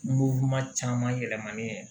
caman yɛlɛmani